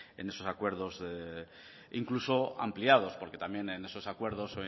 en esos acuerdos incluso ampliados porque también en esos acuerdos